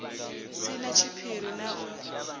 si na tshiphiri na u